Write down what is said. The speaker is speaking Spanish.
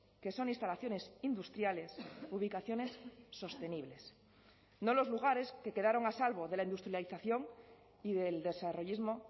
que son instalaciones industriales ubicaciones sostenibles no los lugares que quedaron a salvo de la industrialización y del desarrollismo